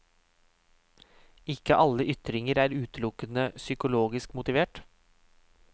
Ikke alle ytringer er utelukkende psykologisk motivert.